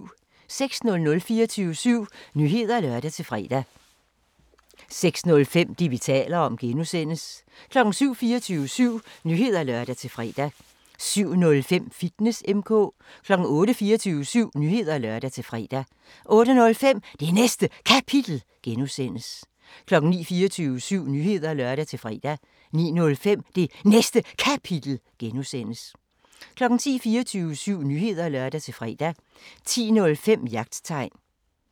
06:00: 24syv Nyheder (lør-fre) 06:05: Det, vi taler om (G) 07:00: 24syv Nyheder (lør-fre) 07:05: Fitness M/K 08:00: 24syv Nyheder (lør-fre) 08:05: Det Næste Kapitel (G) 09:00: 24syv Nyheder (lør-fre) 09:05: Det Næste Kapitel (G) 10:00: 24syv Nyheder (lør-fre) 10:05: Jagttegn